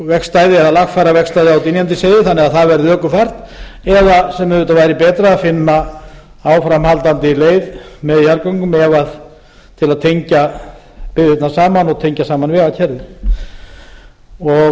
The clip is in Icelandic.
vegstæði eða lagfæra vegstæðið á dynjandisheiði þannig að það verði ökufært eða sem auðvitað væri betra að finna áframhaldandi leið með jarðgöngum til að tengja byggðirnar saman og tengja saman vegakerfið þess